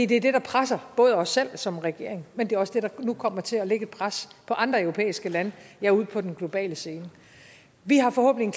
det er det der presser både os selv som regering men det er også det der nu kommer til at lægge et pres på andre europæiske lande ja ude på den globale scene vi har forhåbentlig